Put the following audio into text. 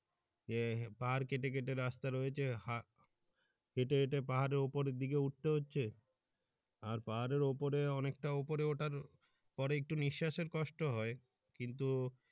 যে পাহাড় কেটে কেটে রাস্তা রয়েছে হা হেটে হেটে পাহাড়ের উপরের দিকে উঠতে হচ্ছে আর পাহাড়ের উপরে অনেক টা উপরে উঠার পরে একটু নিঃশ্বাসের কষ্ট হয় কিন্তু।